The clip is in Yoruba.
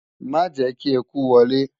Ma jẹ́ ​​kí eku wọlé!